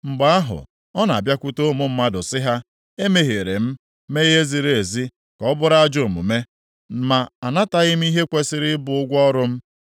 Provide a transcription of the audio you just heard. Mgbe ahụ, ọ na-abịakwute ụmụ mmadụ sị ha: ‘Emehiere m, mee ihe ziri ezi ka ọ bụrụ ajọ omume, ma anataghị m ihe kwesiri ịbụ ụgwọ ọrụ m;